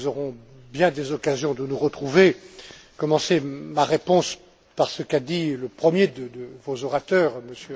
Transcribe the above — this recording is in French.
nous aurons bien des occasions de nous retrouver. Je commencerai ma réponse par ce qu'a dit le premier de vos orateurs, M.